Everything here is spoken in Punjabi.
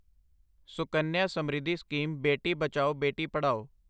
ਸੁਕੰਨਿਆ ਸਮ੍ਰਿੱਧੀ ਸਕੀਮ ਬੇਟੀ ਬਚਾਓ ਬੇਟੀ ਪੜਾਓ